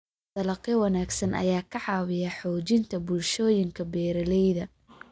Dalagyo wanaagsan ayaa ka caawiya xoojinta bulshooyinka beeralayda.